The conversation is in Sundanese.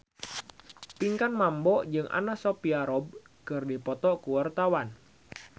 Pinkan Mambo jeung Anna Sophia Robb keur dipoto ku wartawan